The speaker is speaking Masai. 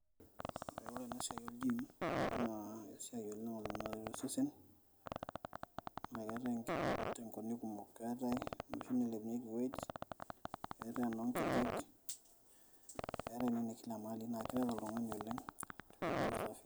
ore ena siai oolgiim naa esiai oleng naret osesen, naa keetae too nkabilaritin kumok, keetae eanilepunyeki weight ,keetae enoo nkejek, keetae ena naa keret oltungani oleng.